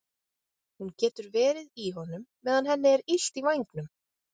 Hún getur verið í honum meðan henni er illt í vængnum.